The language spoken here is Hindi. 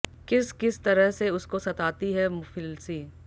किस किस तरह से उस को सताती है मुफिलसी